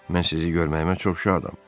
Mən sizi görməyimə çox şadam.